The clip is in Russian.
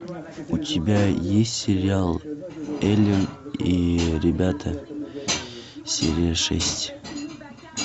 у тебя есть сериал элен и ребята серия шесть